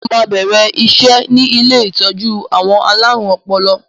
Mo máa bẹ̀rẹ̀ iṣẹ́ ni ilé ìtọ́jú àwọn alárùn ọpọlọ